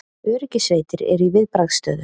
Öryggissveitir eru í viðbragðsstöðu